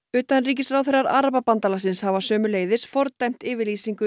utanríkisráðherrar Arababandalagsins hafa sömuleiðis fordæmt yfirlýsingu